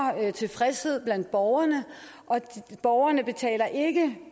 tilfredshed blandt borgerne borgerne betaler ikke